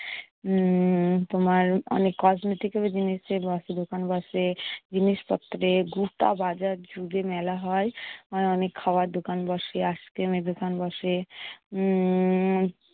উম তোমার অনেক cosmetic এরও জিনিস দিয়ে ব~ দোকান বসে। জিনিসপত্র দিয়ে গোটা বাজার জুড়ে মেলা হয়। অনেক খাবার দোকান বসে, আইসক্রিমের দোকান বসে। উম